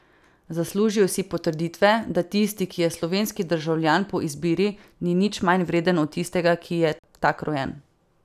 Zaslužijo si potrditve, da tisti, ki je slovenski državljan po izbiri, ni nič manj vreden od tistega, ki je tak rojen.